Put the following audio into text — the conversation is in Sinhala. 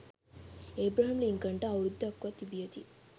ඒබ්‍රහම් ලින්කන්ට අවුරුද්දක්ව තිබියදී